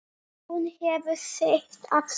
Hún hefur sitt að segja.